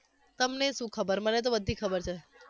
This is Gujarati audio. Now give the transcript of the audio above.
તમનેય શું ખબર? મને તો બધ્ધી ખબર છે